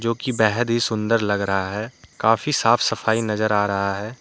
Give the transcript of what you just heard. जो की बेहद ही सुन्दर लग रहा है। काफ़ी साफ सफाई नजर आ रहा है।